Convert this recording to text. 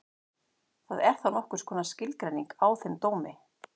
Það er þá nokkurs konar skilgreining á þeim dómi.